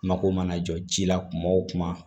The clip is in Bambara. Mako mana jɔ ji la kuma o kuma